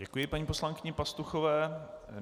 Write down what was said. Děkuji paní poslankyni Pastuchové.